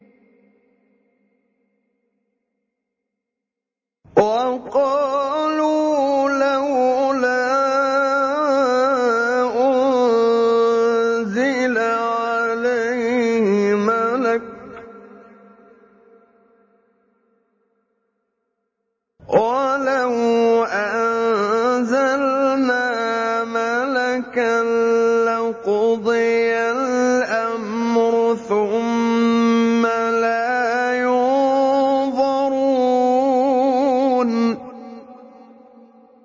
وَقَالُوا لَوْلَا أُنزِلَ عَلَيْهِ مَلَكٌ ۖ وَلَوْ أَنزَلْنَا مَلَكًا لَّقُضِيَ الْأَمْرُ ثُمَّ لَا يُنظَرُونَ